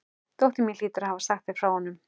Dóttir mín hlýtur að hafa sagt þér frá honum.